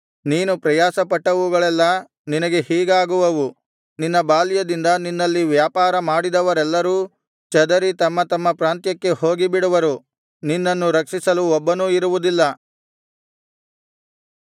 ನೀನು ಪ್ರಯಾಸಪಟ್ಟವುಗಳೆಲ್ಲಾ ನಿನಗೆ ಹೀಗಾಗುವವು ನಿನ್ನ ಬಾಲ್ಯದಿಂದ ನಿನ್ನಲ್ಲಿ ವ್ಯಾಪಾರ ಮಾಡಿದವರೆಲ್ಲರೂ ಚದರಿ ತಮ್ಮ ತಮ್ಮ ಪ್ರಾಂತ್ಯಕ್ಕೆ ಹೋಗಿಬಿಡುವರು ನಿನ್ನನ್ನು ರಕ್ಷಿಸಲು ಒಬ್ಬನೂ ಇರುವುದಿಲ್ಲ